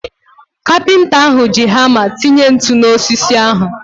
Kapịnta ahu ji hama tinye ntụ na osisi ahu